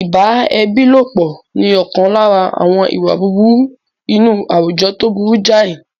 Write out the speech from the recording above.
Ìbá ẹbí lọ́pọ̀ ni ọ̀kan lára àwọn ìwà búburú inú àwùjọ tó burú jáì.